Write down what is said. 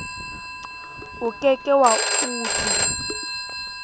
o ke ke wa utlwi